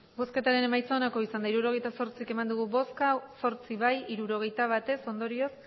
hirurogeita zortzi eman dugu bozka zortzi bai hirurogeita bat ez ondorioz